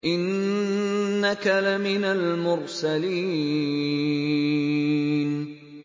إِنَّكَ لَمِنَ الْمُرْسَلِينَ